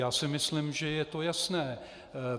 Já si myslím, že je to jasné.